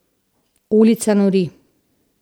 Ulica nori.